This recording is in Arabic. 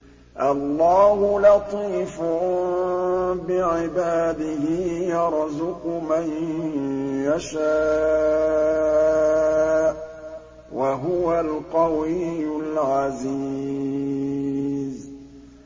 اللَّهُ لَطِيفٌ بِعِبَادِهِ يَرْزُقُ مَن يَشَاءُ ۖ وَهُوَ الْقَوِيُّ الْعَزِيزُ